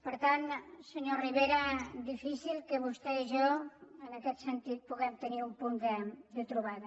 per tant senyor rivera difícil que vostè i jo en aquest sentit puguem tenir un punt de trobada